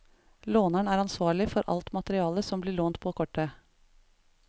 Låneren er ansvarlig for alt materiale som blir lånt på kortet.